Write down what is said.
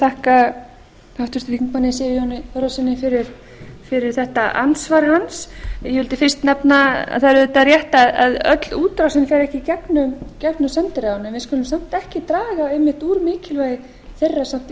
þakka háttvirtum þingmanni sigurjóni þórðarsyni fyrir þetta andsvar hans ég vildi fyrst nefna að það er auðvitað rétt að öll útrásin fer ekki í gegnum sendiráðin en við skulum samt ekki draga einmitt úr mikilvægi þeirra í þeim